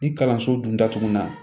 Ni kalanso dun datugu na